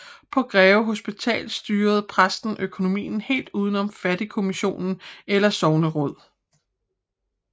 På Greve Hospital styrede præsten økonomien helt udenom fattigkommission eller sogneråd